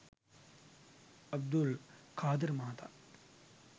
අබ්දුල් කාදර් මහතා